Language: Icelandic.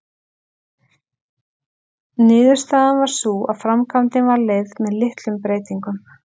Niðurstaðan varð sú að framkvæmdin var leyfð með litlum breytingum.